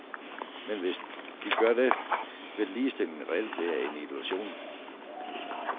Men selv hvis de gør det, vil ligestillingen reelt være en illusion.